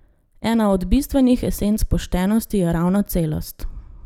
Ena od bistvenih esenc poštenosti je ravno celost.